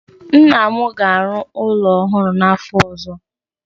Nna m ga-arụ ụlọ ọhụrụ n'afọ ọzọ.